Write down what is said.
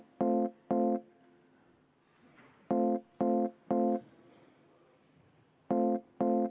Kümme minutit vaheaega.